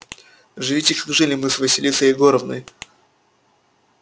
живите как жили мы с василисой егоровной